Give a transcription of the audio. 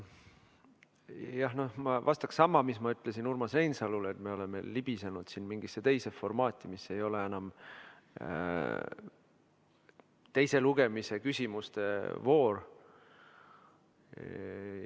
Jah, ma vastaksin sama, mis ma ütlesin Urmas Reinsalule, et me oleme libisenud siin mingisse teise formaati, mis ei ole enam teise lugemise küsimuste voor.